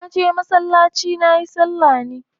Na je masallaci nayi salla ne.